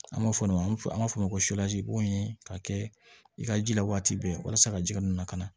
An b'a fɔ min ma an b'a fɔ o ma ko boyi ka kɛ i ka ji la waati bɛɛ walasa ka ji ninnu na ka na